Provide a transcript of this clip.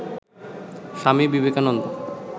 Swami Vivekananda